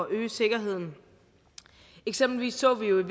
øge sikkerheden eksempelvis så vi